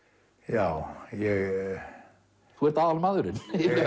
já þú ert aðalmaðurinn